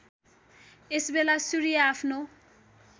यसबेला सूर्य आफ्नो